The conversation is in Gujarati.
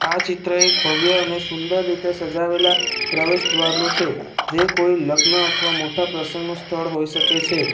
આ ચિત્ર એક ભવ્ય અને સુંદર રીતે સજાવેલા પ્રવેશદ્વાર નું છે જે કોઈ લગ્ન અથવા મોટા પ્રસંગનું સ્થળ હોઈ શકે છે.